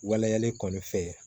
Waleyalen kɔni fɛ